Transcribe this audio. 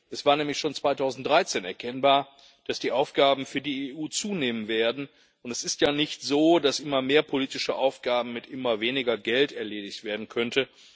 Es war nämlich schon 2013 erkennbar, dass die Aufgaben für die EU zunehmen werden, und es ist ja nicht so, dass immer mehr politische Aufgaben mit immer weniger Geld erledigt werden könnten.